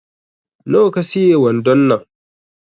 Na wa ka siye wandon nan